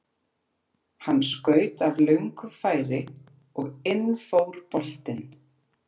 Hann skaut af löngu færi og inn fór boltinn.